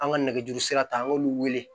An ka nɛgɛjuru sira ta an k'olu wele